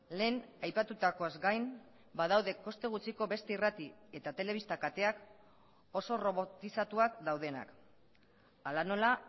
lehen aipatutakoaz gain badaude koste gutxiko beste irrati eta telebista kateak oso robotizatuak daudenak hala nola